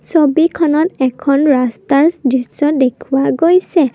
ছবিখনত এখন ৰাস্তাৰ দৃশ্য দেখুওৱা গৈছে।